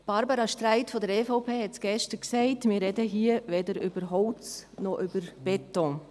Barbara Streit von der EVP hat gestern gesagt, wir sprächen hier weder über Holz noch über Beton.